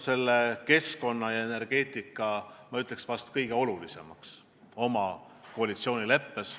Me oleme keskkonna ja energeetika tõstnud vahest kõige olulisemaks oma koalitsioonileppes.